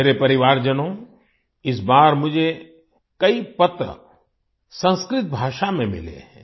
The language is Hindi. मेरे परिवारजनों इस बार मुझे कई पत्र संस्कृत भाषा में मिले हैं